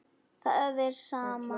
Það er sama.